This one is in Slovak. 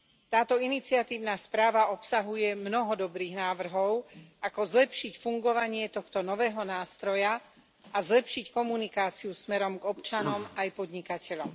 Táto iniciatívna správa obsahuje mnoho dobrých návrhov ako zlepšiť fungovanie tohto nového nástroja a zlepšiť komunikáciu smerom k občanom aj podnikateľom.